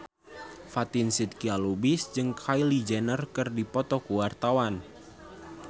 Fatin Shidqia Lubis jeung Kylie Jenner keur dipoto ku wartawan